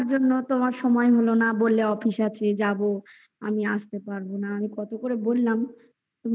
তোমার সময় হলো না বললে office আছে যাবো আমি আসতে পারবো না কত করে বললাম তুমি এলে না